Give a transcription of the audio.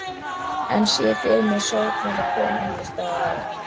Enn sé ég fyrir mér sorgmædda konu einhvers staðar á